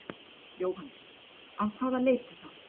Jóhannes: Af hvaða leiti þá?